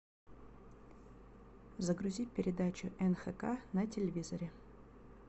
загрузи передачу нхк на телевизоре